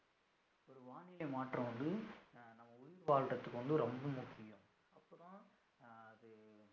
ஒரு வானிலை மாற்றம் வந்து அஹ் நம்ம உயிர் வாழ்றதுக்கு வந்து ரொம்ப முக்கியம் அப்பதான் அஹ் அது